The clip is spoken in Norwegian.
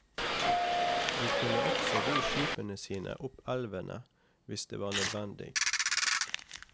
De kunne også ro skipene sine opp elvene hvis det var nødvendig.